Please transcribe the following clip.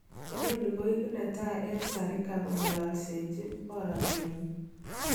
Inoni koiku netai eng Zarika kongololsechi borote nyin.